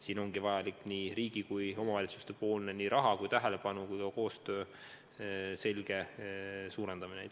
Siin ongi vajalik nii riigi kui ka omavalitsuste rahasummade, tähelepanu ja ka koostöö selge suurendamine.